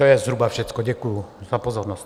To je zhruba všecko, děkuji za pozornost.